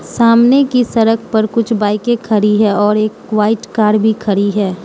सामने की सड़क पर कुछ बाइकें खड़ी है और एक वाइट कार भी खड़ी है।